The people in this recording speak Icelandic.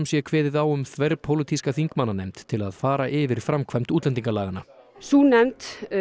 sé kveðið á um þverpólitíska þingmannanefnd til að fara yfir framkvæmd útlendingalaganna sú nefnd